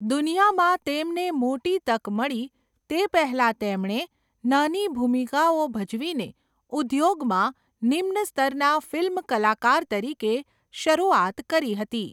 દુનિયામાં તેમને મોટી તક મળી તે પહેલાં તેમણે નાની ભૂમિકાઓ ભજવીને ઉદ્યોગમાં નિમ્ન સ્તરના ફિલ્મ કલાકાર તરીકે શરૂઆત કરી હતી.